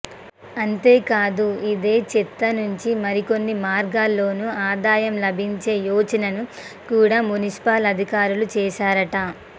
అంతేకాదు ఇదే చెత్త నుంచి మరికొన్ని మార్గాల్లోనూ ఆదాయం లభించే యోచనను కూడా మున్సిపల్ అధికారులు చేశారట